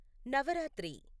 Navratri